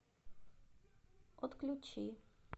отключи